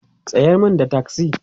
tsayar min da taksi!